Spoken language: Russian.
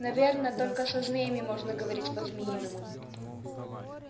наверно только со змеями можно говорить по-змеиному